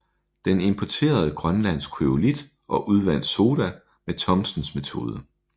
Den importerede grønlandsk kryolit og udvandt soda med Thomsens metode